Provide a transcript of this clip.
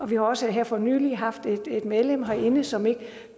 vi har også her for nylig haft et medlem herinde som ikke